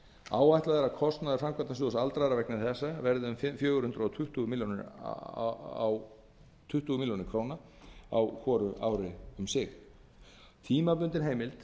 að kostnaður framkvæmdasjóðs aldraðra vegna þessa verði um fjögur hundruð tuttugu milljónir ára á hvort ár tímabundin heimild